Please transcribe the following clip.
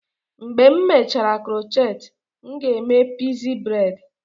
Mgbe m mechara crochet, m ga-eme pixie braid.